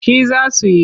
Shi za su yi.